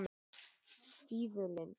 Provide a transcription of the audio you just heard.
Fífulind